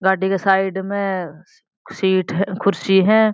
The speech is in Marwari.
गाड़ी के साइड में सीट है कुर्सी है।